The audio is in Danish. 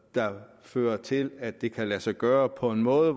der fører til at det kan lade sig gøre på en måde